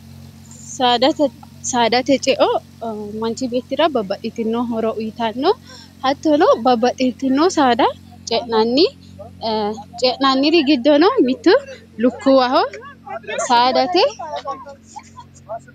saadate ceo manchi beettira babbaxitinoo hora uyitanno hattono babbaxxitinoo saada ce'nanniri giddono mittu lukkuuwaho saadate